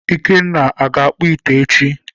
Ikenna, aga akpụ ite echi?